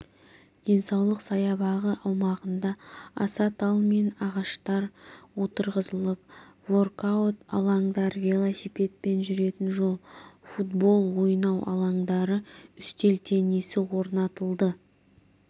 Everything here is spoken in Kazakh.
денсаулық саябағы аумағында аса тал мен ағаштар отырғызылып воркаут алаңдар велосипедпен жүретін жол футбол ойнау алаңдары үстел теннисі орнатылды